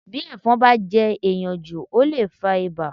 Bí ẹ̀fọn bá jẹ́ èèyàn jù ó lè fa ibà